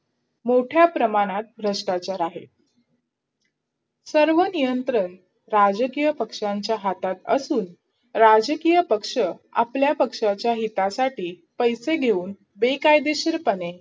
मोठ्या प्रमाणात भ्रष्टाचार आहे सर्व नियंत्रण राजकीय पक्षांच्या हातात असून, राजकीय पक्ष आपल्या पक्षाच्या हितासाठी पैसे घेऊन बेकायदेशीरपणे